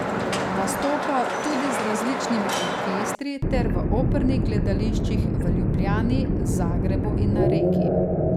Nastopa tudi z različnimi orkestri ter v opernih gledališčih v Ljubljani, Zagrebu in na Reki.